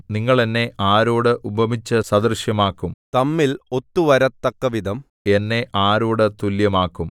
നിങ്ങൾ എന്നെ ആരോട് ഉപമിച്ചു സദൃശമാക്കും തമ്മിൽ ഒത്തുവരത്തക്കവിധം എന്നെ ആരോട് തുല്യമാക്കും